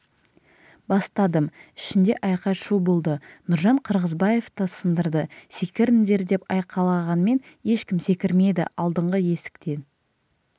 бастадым ішінде айқай-шу болды нұржан қырғызбаев та сындырды секіріңдер деп айқайлағанмен ешкім секірмеді алдыңғы есіктен